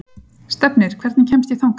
Stefnir, hvernig kemst ég þangað?